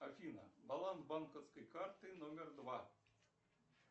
афина баланс банковской карты номер два